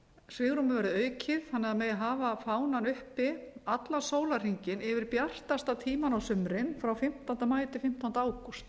svigrúmið verði aukið þannig að það megi hafa fánann uppi allan sólarhringinn yfir bjartasta tímann á sumrin frá fimmtánda maí til fimmtánda ágúst